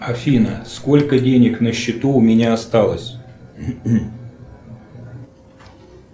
афина сколько денег на счету у меня осталось